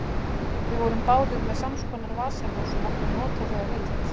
Við vorum báðir með samskonar vasaljós og máttum nota þau að vild.